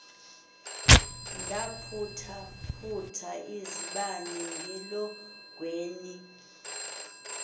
ndaphuthaphutha izibane elongweni